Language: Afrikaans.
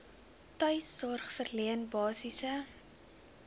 tuissorg verleen basiese